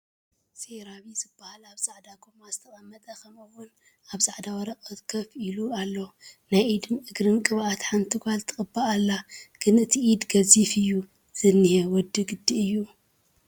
ሴራቪ ዝባሃል ኣብ ፃዕዳ ጎማ ዝተቐመጠ ከምኡ ውን ኣብ ፃዕዳ ወረቐት ከፍ ኢሉ ኣሎ ናይ ኢድን እግርን ቅብኣት ሓንቲ ጓል ትቕባእ ኣላ፡፡ ግን እቲ ኢድ ገዚፍ እዩ ዝኒሀ ወዲ ግዲ እዩ?